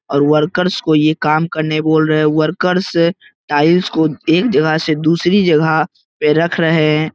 और वर्कर्स को ये काम करने बोल रहे हैं वर्कर्स टाइल्स को एक जगह से दूसरी जगह पे रख रहे हैं।